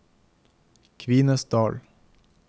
Kvinesdal